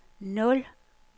nul